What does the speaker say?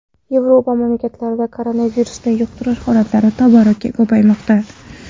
Yevropa mamlakatlarida koronavirusni yuqtirish holatlari tobora ko‘paymoqda.